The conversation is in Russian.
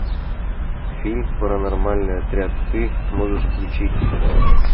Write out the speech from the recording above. фильм паранормальный отряд ты можешь включить